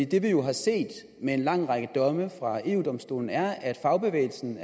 det vi jo har set med en lang række domme fra eu domstolen er at fagbevægelsen